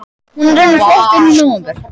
Hún er raunar flutt inn í nóvember.